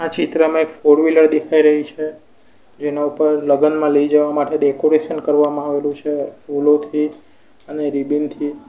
ચિત્રમાં એક four wheeler દેખાઈ રહી છે જેના ઉપર લગનમાં લઈ જવા માટે ડેકોરેશન કરવામાં આવેલું છે ફૂલોથી અને રિબીન થી.